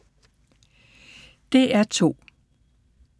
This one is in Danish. DR2